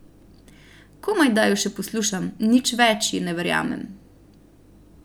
Komajda jo še poslušam, nič več ji ne verjamem.